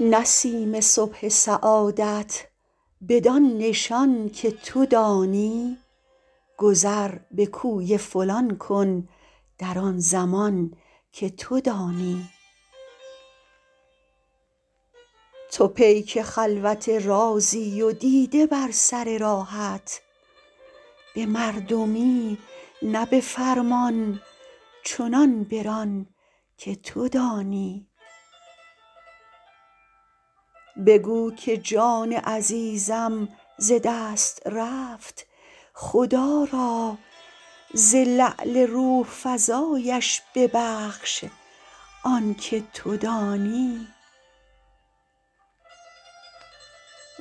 نسیم صبح سعادت بدان نشان که تو دانی گذر به کوی فلان کن در آن زمان که تو دانی تو پیک خلوت رازی و دیده بر سر راهت به مردمی نه به فرمان چنان بران که تو دانی بگو که جان عزیزم ز دست رفت خدا را ز لعل روح فزایش ببخش آن که تو دانی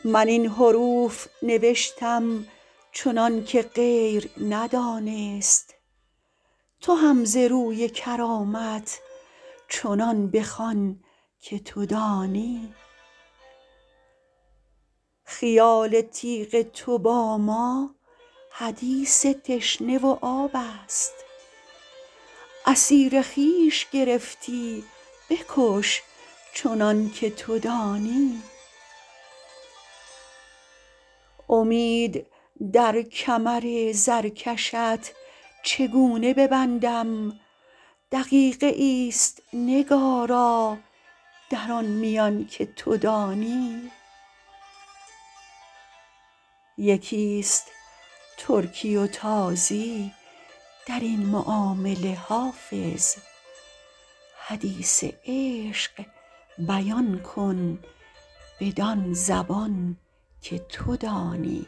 من این حروف نوشتم چنان که غیر ندانست تو هم ز روی کرامت چنان بخوان که تو دانی خیال تیغ تو با ما حدیث تشنه و آب است اسیر خویش گرفتی بکش چنان که تو دانی امید در کمر زرکشت چگونه ببندم دقیقه ای است نگارا در آن میان که تو دانی یکی است ترکی و تازی در این معامله حافظ حدیث عشق بیان کن بدان زبان که تو دانی